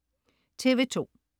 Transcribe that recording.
TV2: